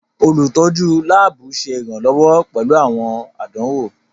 Olutọju laabu ṣe iranlọwọ pẹlu awọn àdánwò.